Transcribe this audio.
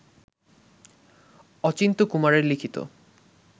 অচিন্ত্যকুমারের লিখিত